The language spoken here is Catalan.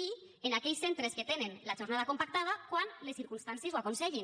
i en aquells centres que tenen la jornada compactada quan les circumstàncies ho aconsellin